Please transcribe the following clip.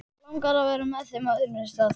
Langar að vera með þeim á öðrum stað.